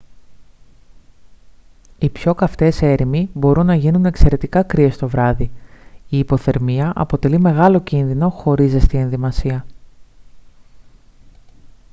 και οι πιο καυτές έρημοι μπορούν να γίνουν εξαιρετικά κρύες το βράδυ η υποθερμία αποτελεί μεγάλο κίνδυνο χωρίς ζεστή ενδυμασία